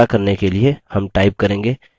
to करने के लिए हम type करेंगे